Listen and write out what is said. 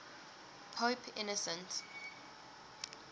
pope innocent